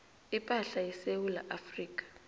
ipahla yesewula afrika